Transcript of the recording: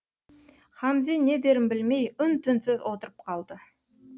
хамзе не дерін білмей үн түнсіз отырып қалды